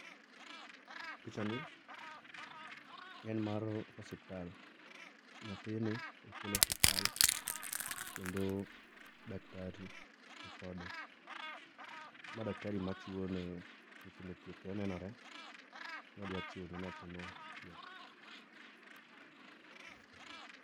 Pichani en mar osiptal, nyathini okel osiptal kendo daktari nikode. Ma daktari machiwo ne nyithindo thieth, onenore ni odwa chiwo ne nyathino thieth